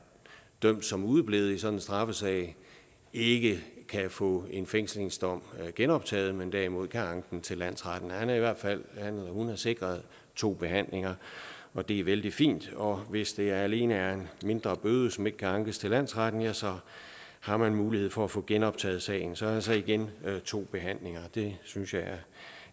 dømt som udeblevet i sådan en straffesag ikke kan få en fængselsdom genoptaget men derimod kan anke den til landsretten han er i hvert fald sikret to behandlinger og det er vældig fint og hvis det alene er en mindre bøde som ikke kan ankes til landsretten så har man mulighed for at få genoptaget sagen så altså igen to behandlinger det synes jeg